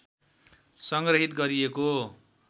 संग्रहित गरिएको